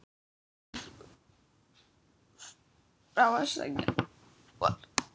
Skrapp frá að sækja bor.